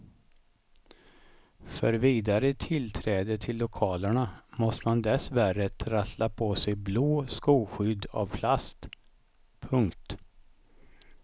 För vidare tillträde till lokalerna måste man dessvärre trassla på sig blå skoskydd av plast. punkt